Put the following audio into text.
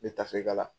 N bɛ tafe kala